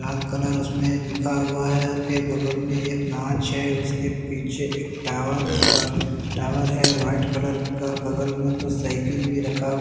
लाल colour उसमें लिखा हुआ है और फिर बगल में एक गांच है उसके पीछे एक टावर -सा टावर है व्हाइट कलर का बगल में कोई साइकिल भी रखा हु --